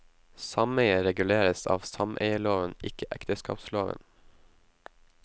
Sameie reguleres av sameieloven, ikke ekteskapsloven.